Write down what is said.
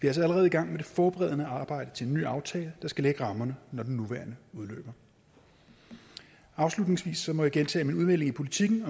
altså allerede i gang med det forberedende arbejde til en ny aftale der skal lægge rammerne når den nuværende udløber afslutningsvis må jeg gentage at min udmelding i politiken